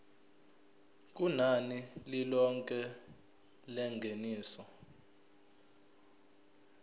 kunani lilonke lengeniso